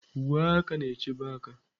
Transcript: Uwe aka na-echebe aka.